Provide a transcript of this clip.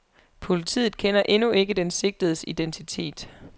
Politiet kender endnu ikke den sigtedes identitet.